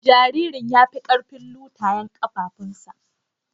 Jaririn ya fi karfin lutayen kafafunsa.